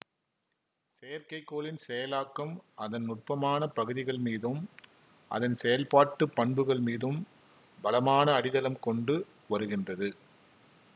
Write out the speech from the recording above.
செயற்கைக்கோளின் செயலாக்கம் அதன் நுட்பமான பகுதிகள் மீதும் அதன் செயல்பாட்டு பண்புகள் மீதும் பலமான அடித்தளம் கொண்டு வருகின்றது